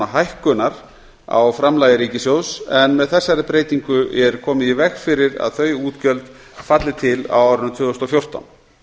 hækkunar á framlagi ríkissjóðs en með þessari breytingu er komið í veg fyrir að þau útgjöld falli til á árinu tvö þúsund og fjórtán